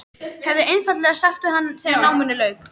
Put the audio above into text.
Hefði einfaldlega sagt við hann þegar náminu lauk.